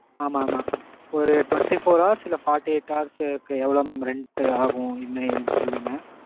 ஆமாம் mam. ஒரு twenty four hours இல்ல forty eight hours க்கு எவ்வளவு mam rent ஆகும். என்ன ஏதுனு சொல்லுங்க.